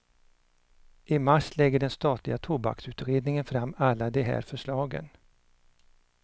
I mars lägger den statliga tobaksutredningen fram alla de här förslagen.